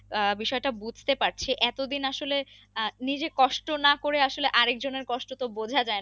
আহ বিষয়টা বুঝতে পাচ্ছি এতো দিন আসলে আহ নিজে কষ্ট না করে আসলে আরেক জনের কষ্ট বোঝা যায়না